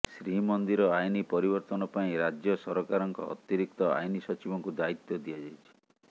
ଶ୍ରୀମନ୍ଦିର ଆଇନ ପରିବର୍ତ୍ତନ ପାଇଁ ରାଜ୍ୟ ସରକାରଙ୍କ ଅତିରିକ୍ତ ଆଇନ ସଚିବଙ୍କୁ ଦାୟିତ୍ବ ଦିଆଯାଇଛି